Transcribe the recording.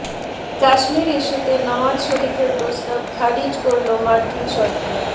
কাশ্মীর ইস্যুতে নওয়াজ শরিফের প্রস্তাব খারিজ করল মার্কিন সরকার